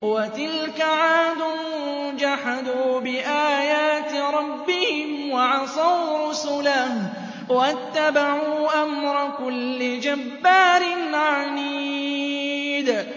وَتِلْكَ عَادٌ ۖ جَحَدُوا بِآيَاتِ رَبِّهِمْ وَعَصَوْا رُسُلَهُ وَاتَّبَعُوا أَمْرَ كُلِّ جَبَّارٍ عَنِيدٍ